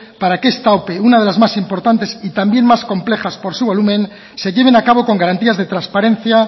para que esta ope una de la más importante y también más compleja por su volumen se lleven a cabo con garantías de transparencia